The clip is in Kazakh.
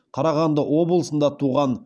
қарағанды облысында туған